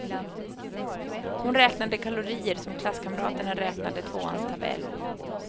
Hon räknade kalorier som klasskamraterna räknade tvåans tabell.